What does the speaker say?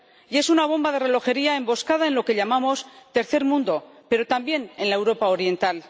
Y es una bomba de relojería emboscada en lo que llamamos tercer mundo, pero también en la Europa oriental.